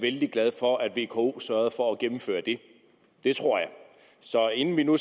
vældig glade for at vko sørgede for at gennemføre det det tror jeg så inden vi nu